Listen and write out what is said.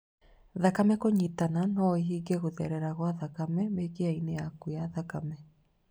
Thakame kũnyitana noĩhinge gũtherera gwa thakame mĩkiha-inĩ yaku ya thakame